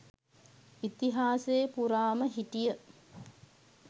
ඉතිහාසේ පුරාම හිටිය.